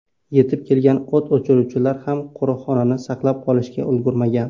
Yetib kelgan o‘t o‘chiruvchilar ham qo‘riqxonani saqlab qolishga ulgurmagan.